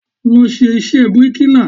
Lọ ṣe iṣẹ́ bíríkìlà!